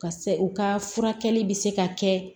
Ka se u ka furakɛli bɛ se ka kɛ